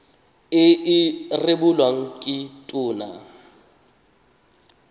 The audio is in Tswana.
e e rebolwang ke tona